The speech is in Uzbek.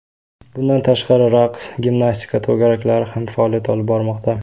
Bundan tashqari raqs, gimnastika to‘garaklari ham faoliyat olib bormoqda.